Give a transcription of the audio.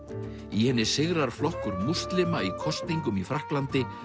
í henni sigrar flokkur múslima í kosningum í Frakklandi